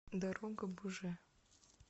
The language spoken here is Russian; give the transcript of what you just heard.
дорогобуже